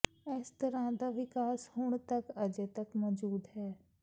ਇਸ ਤਰ੍ਹਾਂ ਦਾ ਵਿਕਾਸ ਹੁਣ ਤਕ ਅਜੇ ਤੱਕ ਮੌਜੂਦ ਹੈ